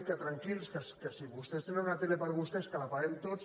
que tranquils que si vostès tenen una tele per a vos·tès que la paguem tots